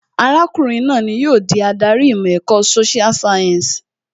Arákùnrin náà ni yóò di adarí ìmọ̀ ẹ̀kọ́ social science